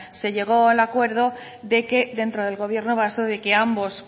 se llegó al acuerdo de que dentro del gobierno de que ambos